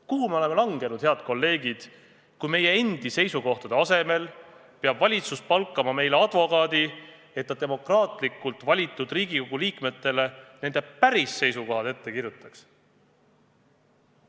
Kuhu me oleme langenud, head kolleegid, kui meie endi seisukohtade asemel peab valitsus palkama meile advokaadi, et ta demokraatlikult valitud Riigikogu liikmetele nende päris seisukohad ette kirjutaks?